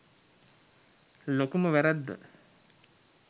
ලොකුම වැරැද්ද